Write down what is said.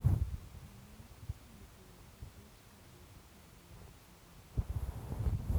Kanyaet kotareti kochuchuuch kabeteet ap piik ak sobonwek.